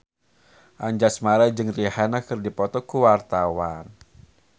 Anjasmara jeung Rihanna keur dipoto ku wartawan